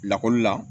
Lakɔli la